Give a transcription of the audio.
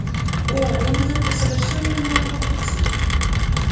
о он идёт по совершенно новому пути